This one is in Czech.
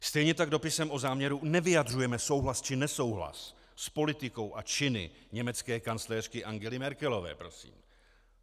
Stejně tak dopisem o záměru nevyjadřujeme souhlas či nesouhlas s politikou a činy německé kancléřky Angely Merkelové, prosím.